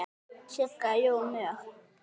Sigga: Jú, mjög.